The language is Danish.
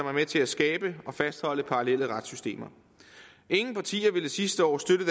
er med til at skabe og fastholde parallelle retssystemer ingen partier ville sidste år støtte